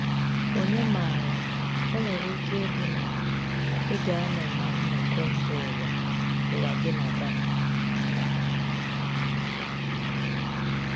Ònye maara, o nwere ike ịbụ na ị ga-anọ na nnọkọ mba ụwa ụwa gị na Ghana!”